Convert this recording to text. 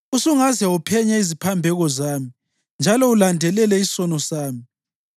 osungaze uphenye iziphambeko zami njalo ulandelele isono sami,